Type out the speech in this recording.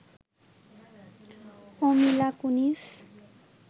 O Mila Kunis